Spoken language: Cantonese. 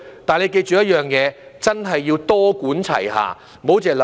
不過，你要記着一點，真的要多管齊下，不要只想一方面。